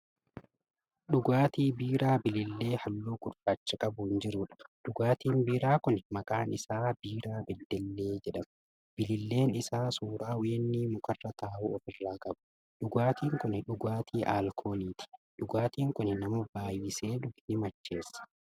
Dhugaatii biiraa bilillee halluu gurraacha qabuun jirudha. dhugaatiin biiraa Kuni maqaan isaa biiraa beddellee jedhama. bililleen Isaa suuraa weennii mukarra taa'uu ofirraa qaba. dhugaatiin Kuni dhugaatii alkooliiti. dhugaatiin Kuni nama baay'isee dhuge ni macheessa.